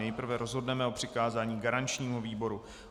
Nejprve rozhodneme o přikázání garančnímu výboru.